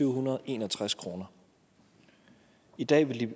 hundrede og en og tres kroner i dag ville de